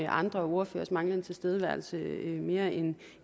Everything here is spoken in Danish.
andre ordførers manglende tilstedeværelse mere end